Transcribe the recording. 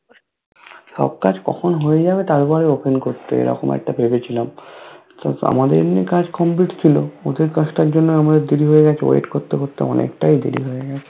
সবকাজ কখন হয়ে যাবে তারপর Open করতে এরকম একটা ভেবেছিলাম আমাদের এমনি কাজ Complete ছিল ওদের কাজ টার জন্য আমাদের দেরি হয়ে গেছে Wait করতে করতে অনেকটাই দেরি হয়ে গেছে করতে করতে অনেকটাই দেরি হয়ে গেছে তোমাদের ঐদিন তেল চাল আর কি চিনি এই গুলো র উপর অনেক টা Offer ছিল দেখলাম